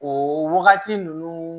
O wagati ninnu